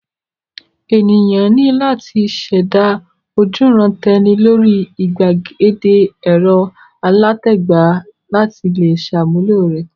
Ènìyàn ní láti ṣẹ̀dá ojúuran-tẹni lórí ìgbàgede ẹ̀rọ alátagbà láti le ṣàmúlò rẹ̀.